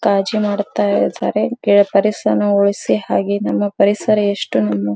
ಕಾಜಿ ಮಾಡುತ್ತ ಇದ್ದಾರೆ ಪರಿಸರ ಉಳಿಸಿ ಹಾಗೆ ನಿಮ್ಮ ಪರಿಸರ ಎಸ್ಟೋನ್ --